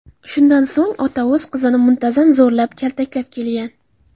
Shundan so‘ng ota o‘z qizini muntazam zo‘rlab, kaltaklab kelgan.